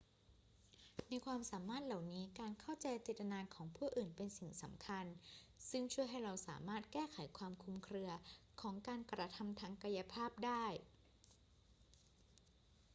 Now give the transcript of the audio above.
ในความสามารถเหล่านี้ การเข้าใจเจตนาของผู้อื่นเป็นสิ่งสำคัญ ซึ่งช่วยให้เราสามารถแก้ไขความคลุมเครือของการกระทำทางกายภาพได้